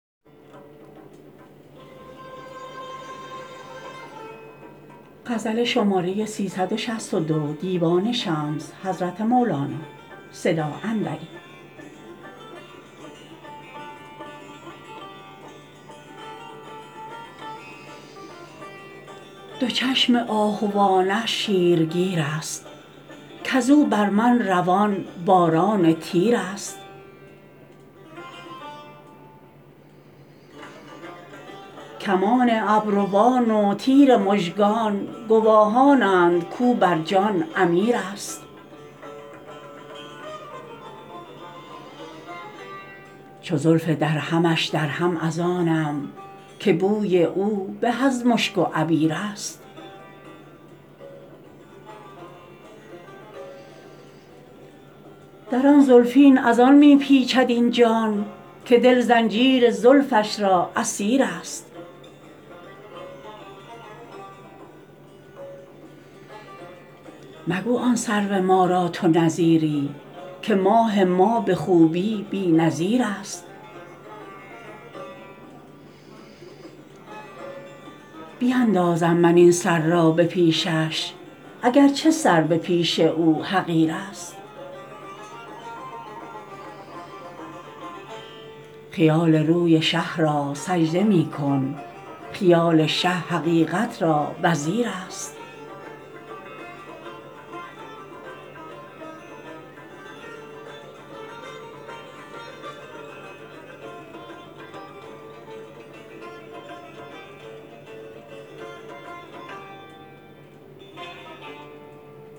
دو چشم آهوانش شیرگیرست کز او بر من روان باران تیرست کمان ابروان و تیر مژگان گواهانند کو بر جان امیرست چو زلف درهمش درهم از آنم که بوی او به از مشک و عبیرست در آن زلفین از آن می پیچد این جان که دل زنجیر زلفش را اسیرست مگو آن سرو ما را تو نظیری که ماه ما به خوبی بی نظیرست بیندازم من این سر را به پیشش اگر چه سر به پیش او حقیرست خیال روی شه را سجده می کن خیال شه حقیقت را وزیرست